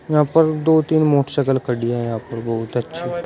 यहां पर दो तीन मोटरसाइकिल खड़ी हैं यहां पर बहुत अच्छी--